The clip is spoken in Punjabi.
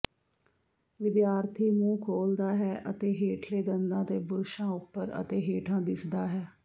ਵਿਦਿਆਰਥੀ ਮੂੰਹ ਖੋਲ੍ਹਦਾ ਹੈ ਅਤੇ ਹੇਠਲੇ ਦੰਦਾਂ ਤੇ ਬੁਰਸ਼ਾਂ ਉੱਪਰ ਅਤੇ ਹੇਠਾਂ ਦਿਸਦਾ ਹੈ